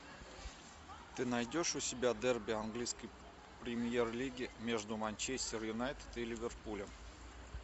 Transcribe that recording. ты найдешь у себя дерби английской премьер лиги между манчестер юнайтед и ливерпулем